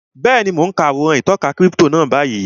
Bẹ́ẹ̀ni, mo n ka àwòrán ìtọka kírípítò náà báyìí